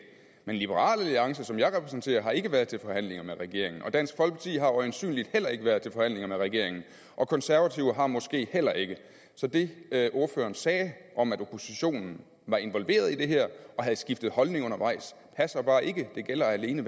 men liberal alliance som jeg repræsenterer har ikke været til forhandlinger med regeringen dansk folkeparti har øjensynligt heller ikke været til forhandlinger med regeringen og konservative har måske heller ikke så det ordføreren sagde om at oppositionen var involveret i det her og havde skiftet holdning undervejs passer bare ikke det gælder alene